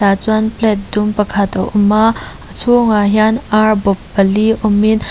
tah chuan plate dum pakhat a awm a a chhûngah hian âr bawp pali awmin--